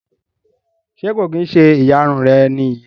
Ṣe ko kin ṣe ìyárún rẹ ni eyii?